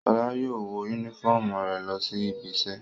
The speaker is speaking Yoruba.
Ṣọlá yóò wọ únífọ́ọ́mù rẹ̀ lọ sí ibiṣẹ́.